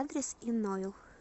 адрес инойл